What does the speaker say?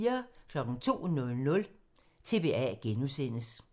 02:00: TBA (G)